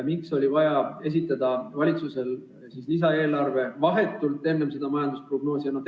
Miks oli vaja esitada valitsusel lisaeelarve vahetult enne seda majandusprognoosi?